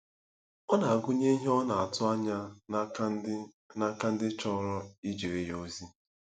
Ọ na-agụnye ihe ọ na-atụ anya n'aka ndị n'aka ndị chọrọ ijere ya ozi.